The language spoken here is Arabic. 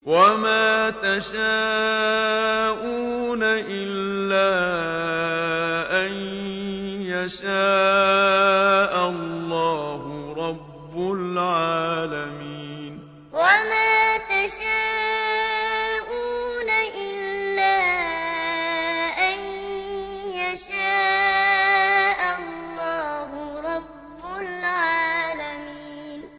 وَمَا تَشَاءُونَ إِلَّا أَن يَشَاءَ اللَّهُ رَبُّ الْعَالَمِينَ وَمَا تَشَاءُونَ إِلَّا أَن يَشَاءَ اللَّهُ رَبُّ الْعَالَمِينَ